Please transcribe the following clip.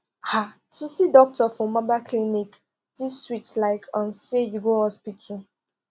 ah to see doctor for mobile clinic still sweet like um say you go hospital